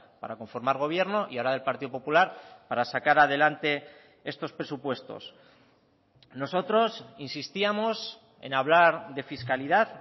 para conformar gobierno y ahora del partido popular para sacar adelante estos presupuestos nosotros insistíamos en hablar de fiscalidad